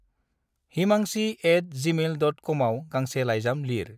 Himanshi at Gmail dot कमआव गांसे लाइजाम लिर।